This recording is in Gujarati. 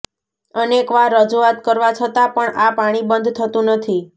અનેકવાર રજૂઆત કરવા છતાં પણ આ પાણીબંધ થતું નથી